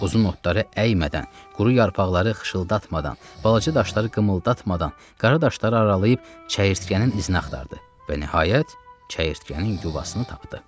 Uzun otları əymədən, quru yarpaqları xışıltatmadan, balaca daşları qımıldatmadan, qara daşları aralayıb çəyirtkənin izini axtardı və nəhayət, çəyirtkənin yuvasını tapdı.